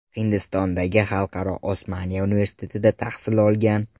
Hindistondagi Xalqaro Osmania universitetida tahsil olgan.